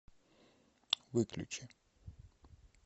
выключи